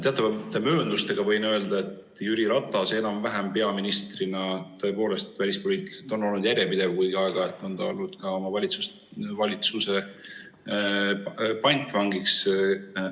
Teatavate mööndustega võin öelda, et Jüri Ratas peaministrina enam-vähem tõepoolest oli välispoliitiliselt järjepidev, kuigi aeg-ajalt oli ta ka oma valitsuse pantvang.